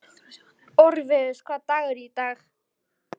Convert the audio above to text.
Orfeus, hvaða dagur er í dag?